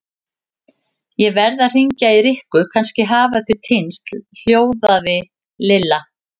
Ég verð að hringja í Rikku, kannski hafa þau týnst hljóðaði Lilla.